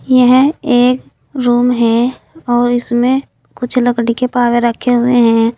यह एक रूम है और इसमें कुछ लकड़ी के पावे रखे हुए हैं।